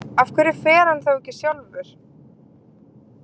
Af hverju fer hann þá ekki sjálfur?